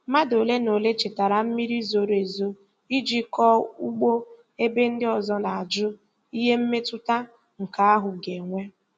Mmadụ ole na ole chetara mmiri zoro ezo iji kọọ ugbo ebe ndị ọzọ na-ajụ ihe mmetụta nke ahụ ga-enwe.